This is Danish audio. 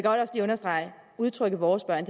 udtrykket vores børn